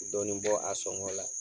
Dɔɔnin bɔ a sɔngɔ la